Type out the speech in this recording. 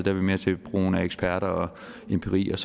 er vi mere til brugen af eksperter og empiri og